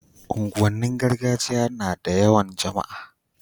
unguwan nin gargajiya nada yawan jama'a